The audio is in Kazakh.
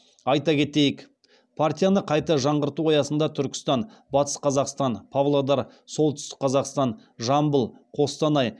айта кетейік партияны қайта жаңғырту аясында түркістан батыс қазақстан павлодар солтүстік қазақстан жамбыл қостанай